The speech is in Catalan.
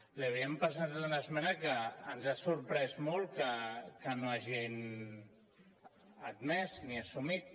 li havíem presentat una esmena que ens ha sorprès molt que no hagin admès ni assumit